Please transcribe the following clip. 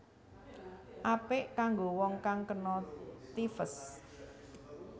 Apik kanggo wong kang kena typhus